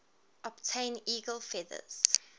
obtain eagle feathers